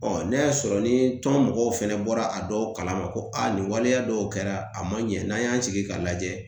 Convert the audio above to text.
n'a y'a sɔrɔ ni tɔn mɔgɔw fana bɔra a dɔw kalama ko a nin waleya dɔw kɛra a man ɲɛ n'an y'an sigi k'a lajɛ